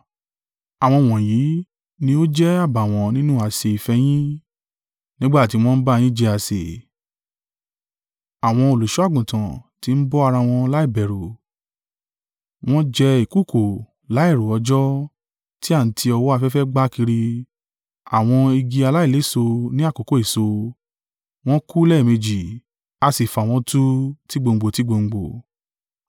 Àwọn wọ̀nyí ní ó jẹ́ àbàwọ́n nínú àsè ìfẹ́ yín, nígbà tí wọ́n ń bá yín jẹ àsè, àwọn olùṣọ́-àgùntàn ti ń bọ́ ara wọn láìbẹ̀rù. Wọ́n jẹ́ ìkùùkuu láìrọ òjò, tí a ń ti ọwọ́ afẹ́fẹ́ gbá kiri; àwọn igi aláìléso ní àkókò èso, wọ́n kú lẹ́ẹ̀méjì, a sì fà wọ́n tú tigbòǹgbò tigbòǹgbò.